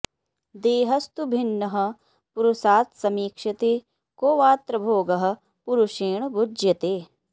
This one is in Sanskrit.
देहस्तु भिन्नः पुरुषात्समीक्ष्यते को वात्र भोगः पुरुषेण भुज्यते